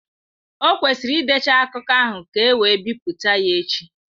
Ọ kwesịrị ịdecha akụkọ ahụ ka e wee bipụta ya echi.